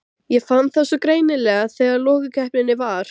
Ég fann það svo greinilega þegar lokakeppnin var.